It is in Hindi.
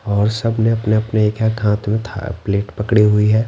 और सब ने अपने अपने एक एक हाथ में था प्लेट पकड़ी हुई है।